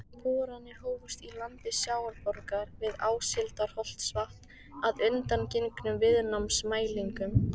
Boranir hófust í landi Sjávarborgar við Áshildarholtsvatn að undangengnum viðnámsmælingum.